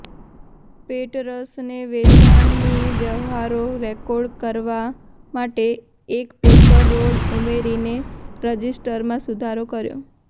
પેટરસને વેચાણની વ્યવહારો રેકોર્ડ કરવા માટે એક પેપર રોલ ઉમેરીને રજિસ્ટરમાં સુધારો કર્યો